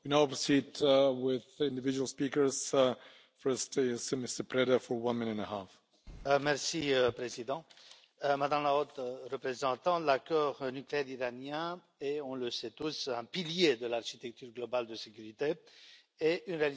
Monsieur le Président, Madame la Haute Représentante, l'accord nucléaire iranien est, on le sait tous, un pilier de l'architecture globale de sécurité et une réalisation importante de la diplomatie européenne que vous dirigez.